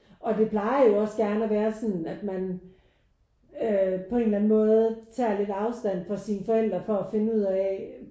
Og det plejer jo også gerne at være sådan at man øh på en eller anden måde tager lidt afstand fra sine forældre for at finde ud af